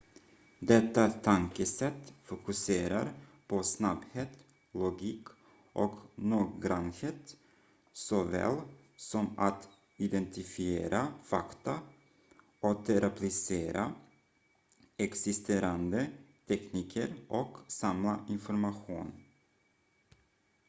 detta tankesätt fokuserar på snabbhet logik och noggrannhet såväl som att identifiera fakta återapplicera existerande tekniker och samla information